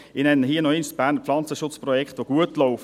Ich nenne hier noch einmal das BPP, das gut läuft.